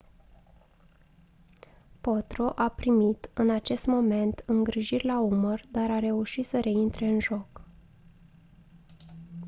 potro a primit în acest moment îngrijiri la umăr dar a reușit să reintre în joc